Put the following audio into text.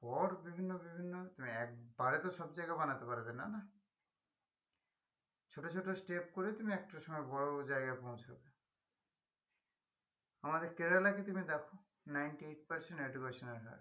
পর বিভিন্ন বিভিন্ন একবারে তো সব জায়গায় বানাতে পারবেনা না ছোট ছোট step করে তুমি একটা সময় বড়ো জায়গায় পৌঁছাবে আমাদের কেরালা দেখো ninety-eight percent educational